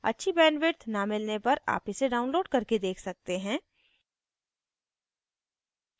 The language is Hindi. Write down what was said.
अच्छी bandwidth न मिलने पर आप इसे download करके देख सकते हैं